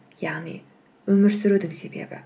яғни өмір сүрудің себебі